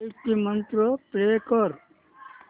गायत्री मंत्र प्ले कर